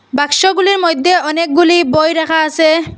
বাক্সগুলির মইধ্যে অনেকগুলি বই রাখা আসে।